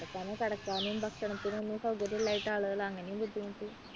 അവിടെ തന്നെ കിടക്കാനും ഭക്ഷണത്തിനും ഒന്നും സാഹചര്യമില്ലാഞ്ഞിട്ട് ആളുകൾ അങ്ങനെയും ബുദ്ധിമുട്ടി.